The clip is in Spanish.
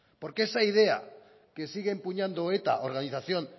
porque esa idea que sigue empuñando eta organización